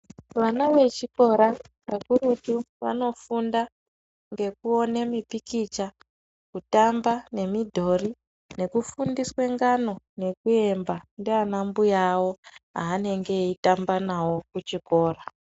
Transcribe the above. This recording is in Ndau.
Vana vechikora vakurutu vanofunda ngekuwone mipikicha, kutamba nemidhori, nekufundiswe ngano nekuimba ndiana mbuya wavo aanenge eyitamba nawo kuchikora.